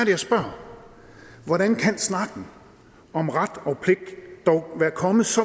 jeg spørger hvordan kan snakken om ret og pligt dog være kommet så